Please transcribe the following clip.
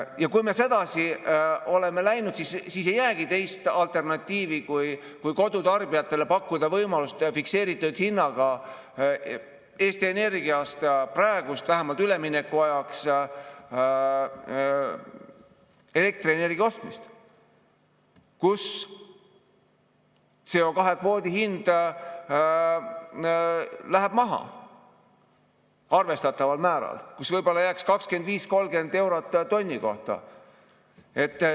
Ja kui me sedasi oleme läinud, siis ei jäägi teist alternatiivi, kui kodutarbijatele pakkuda võimalust teha fikseeritud hinnaga Eesti Energiaga vähemalt ülemineku ajaks, osta elektrienergiat hinnaga, kus CO2-kvoodi hind läheb maha arvestataval määral, kus võib-olla jääks 25–30 eurot tonni kohta.